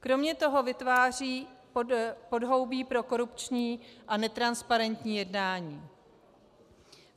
Kromě toho vytváří podhoubí pro korupční a netransparentní jednání.